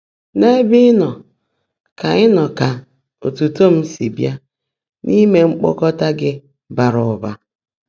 N’ébè Ị́ nọ́ kà nọ́ kà ọ́tú́tọ́ m sí bíá n’íimé mkpọ́kọ́tá Gị́ báàrá ụ́bã̀.”